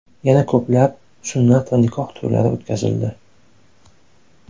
Yana ko‘plab, sunnat va nikoh to‘ylari o‘tkazildi.